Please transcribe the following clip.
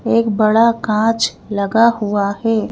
एक बड़ा कांच लगा हुआ है।